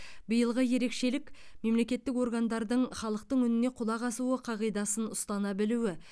биылғы ерекшелік мемлекеттік органдардың халықтың үніне құлақ асу қағидасын ұстана білуі